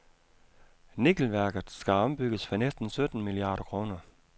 Nikkelværket skal ombygges for næsten sytten milliarder kroner.